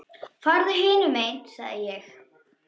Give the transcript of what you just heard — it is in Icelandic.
Farðu hinum megin sagði ég.